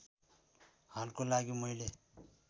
हालको लागि मैले